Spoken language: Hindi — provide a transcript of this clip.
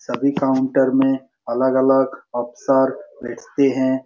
सभी काउंटर में अलग-अलग अफसर बैठते है।